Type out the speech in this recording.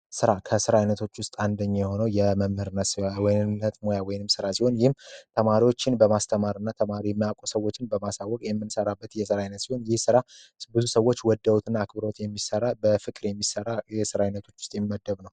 ስራ ከስራዎች ውስጥ አንደኛ የሆነው የመምህርነት ሙያ ወይም ስራ ሲሆን ይህም ተማሪዎችን በማስተማርና ሰዎች በማሳወቅ የሚሰራበት ሲሆን የስራ ሰዎች ወደውትና አክብረውት በፍቅር የሚሠሩት ስራ ውስጥ የሚመደብ ነው።